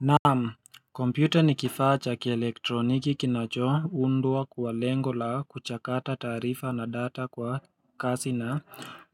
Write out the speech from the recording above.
Naam, kompyuta ni kifaa chakielektroniki kinacho undwa kwalengo la kuchakata taarifa na data kwa kasi na